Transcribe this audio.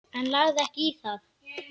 En lagði ekki í það.